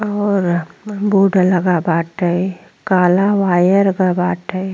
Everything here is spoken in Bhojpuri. और बोर्ड लगा बाटे। काला वायर बाटे।